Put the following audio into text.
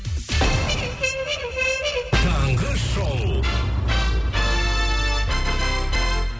таңғы шоу